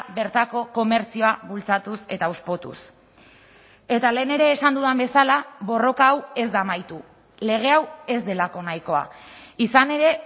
bertako komertzioa bultzatuz eta hauspotuz eta lehen ere esan dudan bezala borroka hau ez da amaitu lege hau ez delako nahikoa izan ere